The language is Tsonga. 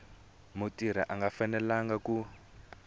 mutirhi a nga fanelanga ku